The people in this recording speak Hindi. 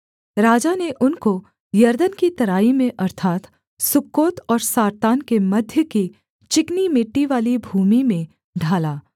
राजा ने उनको यरदन की तराई में अर्थात् सुक्कोत और सारतान के मध्य की चिकनी मिट्टीवाली भूमि में ढाला